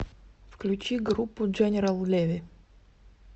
включи группу дженерал леви